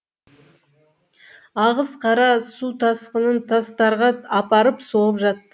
ағыс қара су тасқынын тастарға апарып соғып жатты